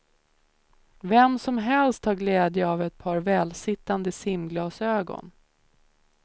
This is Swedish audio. Vem som helst har glädje av ett par välsittande simglasögon.